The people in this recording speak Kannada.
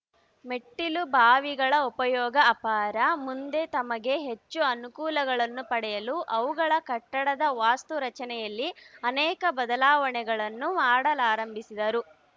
ಮೆಟ್ಟಿಲುಬಾವಿಗಳ ಉಪಯೋಗ ಅಪಾರ ಮುಂದೆ ತಮಗೆ ಹೆಚ್ಚು ಅನುಕೂಲಗಳನ್ನು ಪಡೆಯಲು ಅವುಗಳ ಕಟ್ಟಡದ ವಾಸ್ತು ರಚನೆಯಲ್ಲಿ ಅನೇಕ ಬದಲಾವಣೆಗಳನ್ನು ಮಾಡಲಾರಂಭಿಸಿದರು